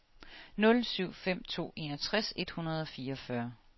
nul syv fem to enogtres et hundrede og fireogfyrre